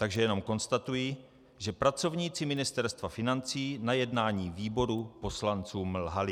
Takže jenom konstatuji, že pracovníci Ministerstva financí na jednání výboru poslancům lhali.